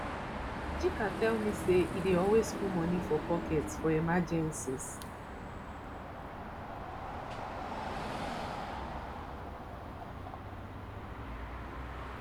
chika tell me say e dey always put money for pocket for emergencies